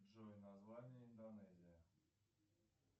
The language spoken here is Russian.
джой название индонезия